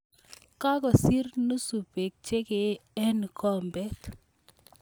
Kakosir nusu beek che kee eng kikombet